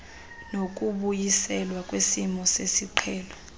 nokubuyiselwa kwesimo sesiqhelo